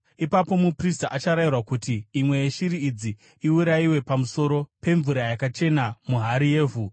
Ipapo muprista acharayirwa kuti imwe yeshiri idzi iurayiwe pamusoro pemvura yakachena muhari yevhu.